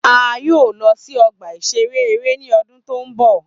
A yoo lọ si ọgba-iṣere ere ni ọdun to nbọ.